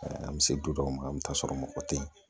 An bɛ se du dɔw ma an bɛ taa sɔrɔ mɔgɔ tɛ ye